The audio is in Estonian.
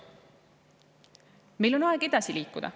Meil on aeg edasi liikuda.